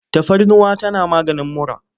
Tafarnuwa tana maganin mura.